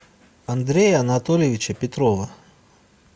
андрея анатольевича петрова